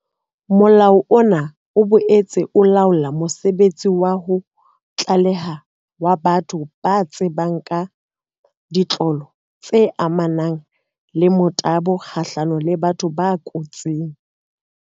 Molao ona o boetse o laola mosebetsi wa ho tlaleha wa batho ba tsebang ka ditlolo tse amanang le motabo kgahlano le batho ba kotsing.